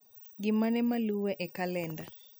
Gimane maluwe e kalenda